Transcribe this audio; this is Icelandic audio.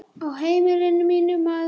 Á heimili mínu, maður.